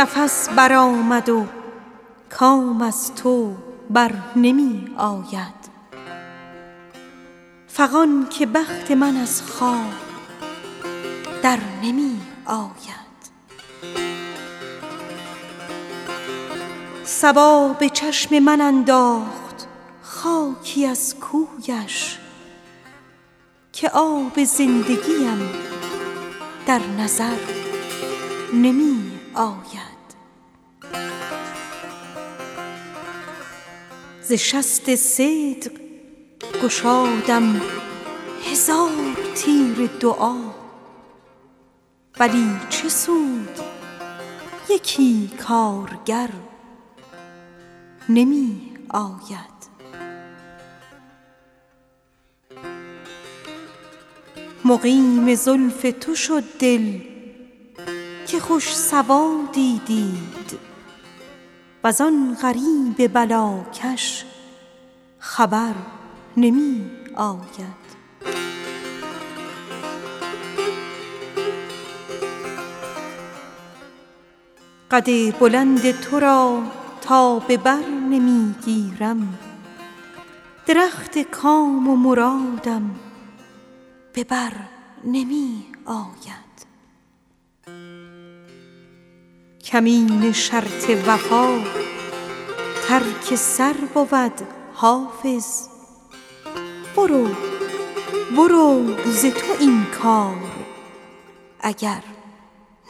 نفس برآمد و کام از تو بر نمی آید فغان که بخت من از خواب در نمی آید صبا به چشم من انداخت خاکی از کویش که آب زندگیم در نظر نمی آید قد بلند تو را تا به بر نمی گیرم درخت کام و مرادم به بر نمی آید مگر به روی دلارای یار ما ور نی به هیچ وجه دگر کار بر نمی آید مقیم زلف تو شد دل که خوش سوادی دید وز آن غریب بلاکش خبر نمی آید ز شست صدق گشادم هزار تیر دعا ولی چه سود یکی کارگر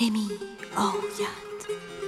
نمی آید بسم حکایت دل هست با نسیم سحر ولی به بخت من امشب سحر نمی آید در این خیال به سر شد زمان عمر و هنوز بلای زلف سیاهت به سر نمی آید ز بس که شد دل حافظ رمیده از همه کس کنون ز حلقه زلفت به در نمی آید